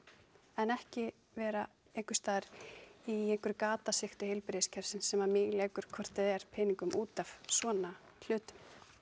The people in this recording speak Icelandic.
en ekki vera einhversstaðar í einhverju gatasigti heilbrigðiskerfis sem að míglekur hvort eð er peningum út af svona hlutum